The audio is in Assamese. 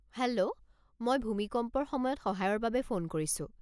হেল্ল', মই ভূমিকম্পৰ সময়ত সহায়ৰ বাবে ফোন কৰিছো।